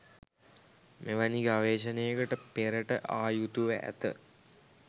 මෙවැනි ගවේෂණයකට පෙරට ආ යුතුව ඇත.